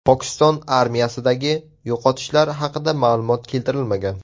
Pokiston armiyasidagi yo‘qotishlar haqida ma’lumot keltirilmagan.